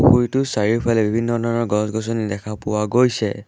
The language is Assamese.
পুখুৰীটোৰ চাৰিওফালে বিভিন্ন ধৰণৰ গছ-গছনি দেখা পোৱা গৈছে।